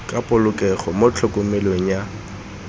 ka polokego mo tlhokomelong ya